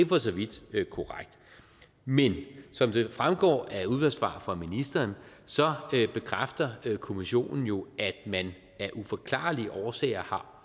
for så vidt korrekt men som det fremgår af et udvalgssvar fra ministeren bekræfter kommissionen jo at man af uforklarlige årsager